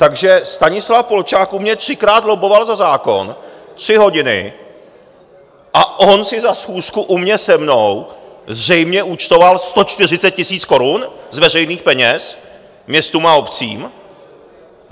Takže Stanislav Polčák u mě třikrát lobboval za zákon tři hodiny a on si za schůzku u mě, se mnou, zřejmě účtoval 140 000 korun z veřejných peněz městům a obcím?